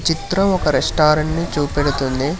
చిత్రం ఒక రెస్టారెంట్ ని చూపెడుతుంది.